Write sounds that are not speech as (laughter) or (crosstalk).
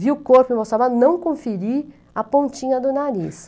Vi o corpo (unintelligible) não conferi a pontinha do nariz.